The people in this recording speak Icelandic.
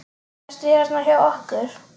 Sestu hérna hjá okkur!